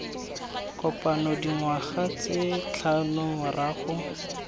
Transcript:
kopano dingwaga tse tlhano morago